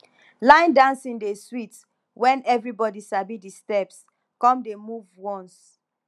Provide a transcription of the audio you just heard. line dancing dey sweet wen everybody sabi the steps come dey move once